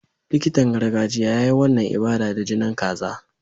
Likitan gargajiya ya yi wannan ibada da jinin kaza.